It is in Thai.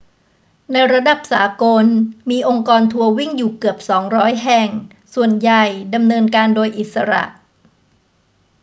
ในระดับสากล มีองค์กรทัวร์วิ่งอยู่เกือบ 200 แห่ง ส่วนใหญ่ดำเนินการโดยอิสระ